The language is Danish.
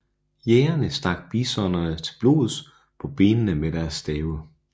Jægerne stak bisonerne til blods på benene med deres stave